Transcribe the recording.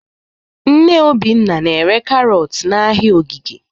Nne Obinna na-ere karọt n'ahịa Ogige.